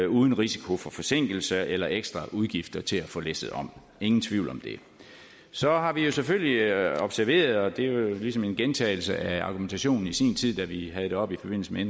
uden risiko for forsinkelser eller ekstra udgifter til at få læsset om ingen tvivl om det så har vi jo selvfølgelig observeret og det er jo ligesom en gentagelse af argumentationen i sin tid da vi havde det oppe i forbindelse med